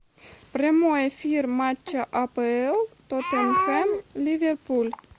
прямой эфир матча апл тоттенхэм ливерпуль